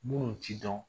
Munnu ti dɔn